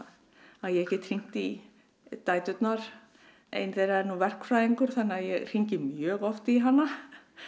að ég get hringt í dæturnar ein þeirra er nú verkfræðingur þannig að ég hringi mjög oft í hana